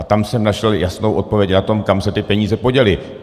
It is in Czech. A tam jsem našel jasnou odpověď na to, kam se ty peníze poděly.